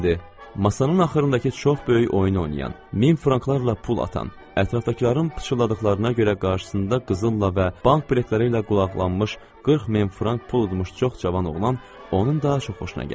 Masanın axırındakı çox böyük oyun oynayan, min franklarla pul atan, ətrafdakıların pıçıldadıqlarına görə qarşısında qızılla və bank biletləri ilə qulaqlanmış 40 min frank pul udmuş çox cavan oğlan onun daha çox xoşuna gəldi.